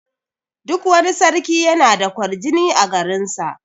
Duk wani sarki yana da ƙwarjini a garin sa.